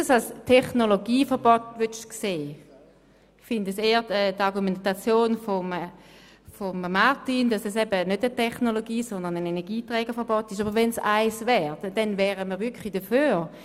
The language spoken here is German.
Es handelt sich für mich nicht um ein Technologieverbot, sondern eher um ein Energieträgerverbot, und wäre es tatsächlich eines, wären wir dafür.